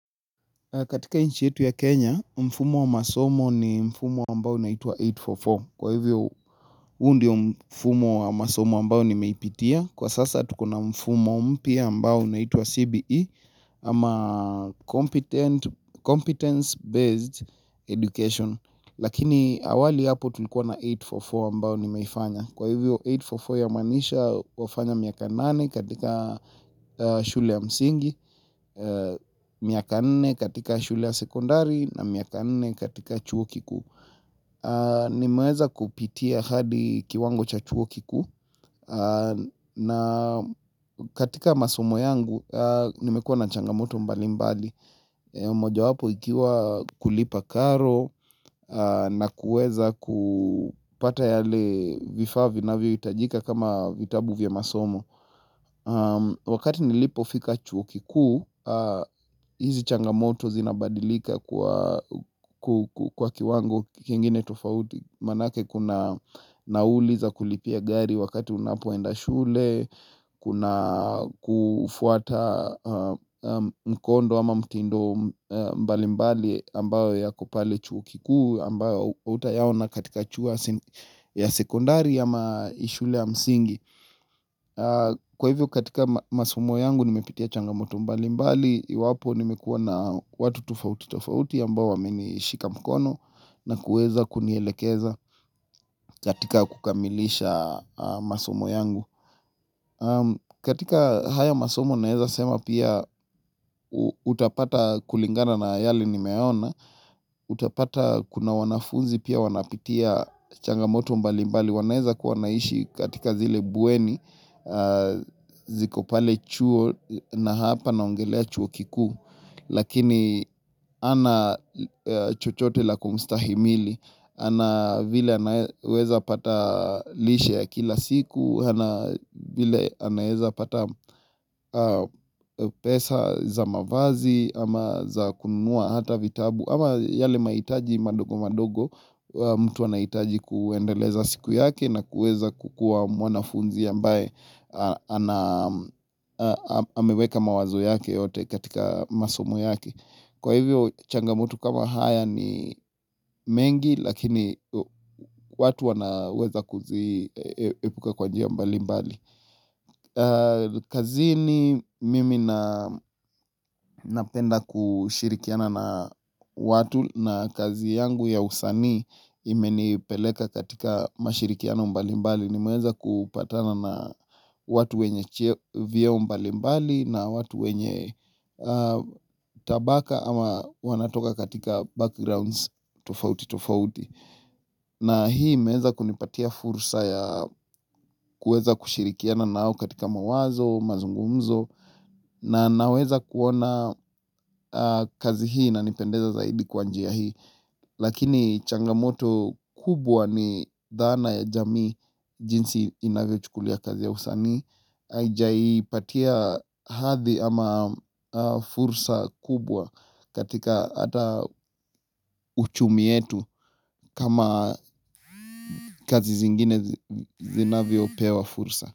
Katika nchi yetu ya Kenya, mfumo wa masomo ni mfumo ambao unaitwa 844. Kwa hivyo, huu ndio mfumo wa masomo ambao nimeipitia. Kwa sasa, tuko na mfumo mpya ambao unaitwa CBE ama competence-based education. Lakini awali hapo tulikuwa na 844 ambao nimeifanya. Kwa hivyo 844 ya maanisha wafanya miaka nane katika shule ya msingi, miaka nne katika shule ya sekondari na miaka nne katika chuo kiku nimeweza kupitia hadi kiwango cha chuo kikuu na katika masomo yangu nimekuwa na changamoto mbali mbali Mojawapo ikiwa kulipa karo na kuweza kupata yale vifaa vinavyohitajika kama vitabu vya masomo Wakati nilipofika chuo kikuu, hizi changamoto zinabadilika kwa kiwango kingine tofauti Manake kuna nauli za kulipia gari wakati unapoenda shule, kuna kufuata mkondo ama mtindo mbalimbali ambayo yako pale chuo kikuu, ambayo hutayaona katika chua ya sekondari ama ishule ya msingi. Kwa hivyo katika masomo yangu nimepitia changamoto mbali mbali Iwapo nimekuwa na watu tofauti tofauti ambao wamenishika mkono na kuweza kunielekeza katika kukamilisha masomo yangu katika haya masomo naeza sema pia utapata kulingana na yale nimeona Utapata kuna wanafunzi pia wanapitia changamoto mbali mbali wanaeza kuwa wanaishi katika zile bweni ziko pale chuo na hapa naongelea chuo kikuu lakini ana chochote la kumstahimili ana vile anaweza pata lishe ya kila siku hana vile anaweza pata pesa za mavazi ama za kununua hata vitabu ama yale mahitaji madogo madogo mtu anahitaji kuendeleza siku yake na kuweza kukuwa mwanafunzi ambaye ameweka mawazo yake yote katika masomo yake kwa hivyo changamoto kama haya ni mengi lakini watu wanaweza kuziepuka kwa njia mbali mbali kazini mimi napenda kushirikiana na watu na kazi yangu ya usanii imenipeleka katika mashirikiano mbali mbali nimeweza kupatana na watu wenye cheo vyeo mbali mbali na watu wenye tabaka ama wanatoka katika backgrounds tofauti tofauti. Na hii imeweza kunipatia fursa ya kuweza kushirikiana nao katika mawazo, mazungumzo na naweza kuona kazi hii na inipendeza zaidi kwa njia hii. Lakini changamoto kubwa ni dhana ya jamii jinsi inavyochukulia kazi ya usanii haijaipatia hadhi ama fursa kubwa katika ata uchumi yetu kama kazi zingine zinavyopewa fursa.